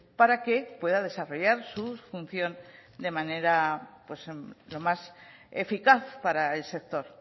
para que pueda desarrollar su función de manera más eficaz para el sector